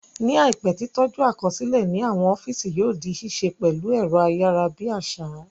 Ní àìpé, tí tọ́jú àkọsílẹ̀ ní àwọn ọ́físì yóò di ṣíṣe pẹ̀lú ẹ̀rọ ayárabíàṣá